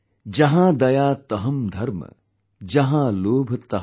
जहांदयातहंधर्म, जहांलोभतहंपाप